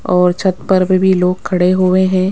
और छत पर पे भी लोग खड़े हुए हैं।